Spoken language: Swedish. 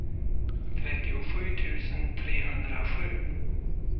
trettiosju tusen trehundrasju